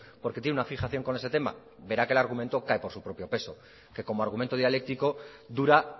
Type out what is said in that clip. porque tiene una fijación con ese tema verá que el argumento cae por su propio peso que como argumento dialéctico dura